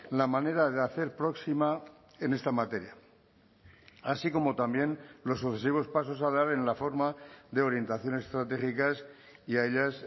la manera de hacer próxima en esta materia así como también los sucesivos pasos a dar en la forma de orientaciones estratégicas y a ellas